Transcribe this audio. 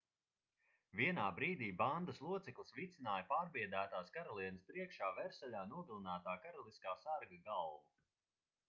vienā brīdī bandas loceklis vicināja pārbiedētās karalienes priekšā versaļā nogalinātā karaliskā sarga galvu